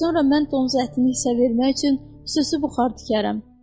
Sonra mən donuz ətini hissə vermək üçün xüsusi buxar tikərəm.